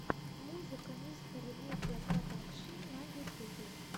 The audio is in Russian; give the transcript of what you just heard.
музыка мистера медиа продакшн на ютубе